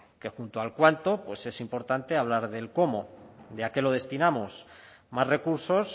que junto al cuánto pues es importante hablar del cómo ya que no destinamos más recursos